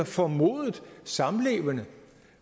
formodet samlevende